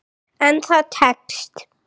En það tekst.